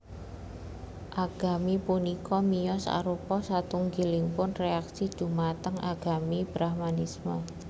Agami punika miyos arupa satunggilipun reaksi dhumateng agami Brahmanisme